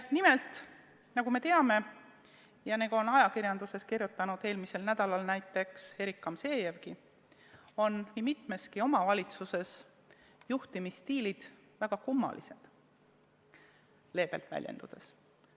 Nimelt, nagu me teame ja nagu on ajakirjanduses eelmisel nädalal kirjutanud näiteks Erik Gamzejev, nii mitmeski omavalitsuses on juhtimisstiil väga kummaline – seda leebelt väljendudes.